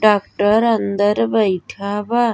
Doctor अंदर बइठा बा।